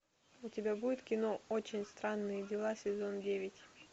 у тебя будет кино очень странные дела сезон девять